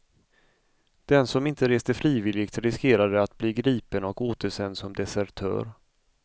Den som inte reste frivilligt riskerade att bli gripen och återsänd som desertör.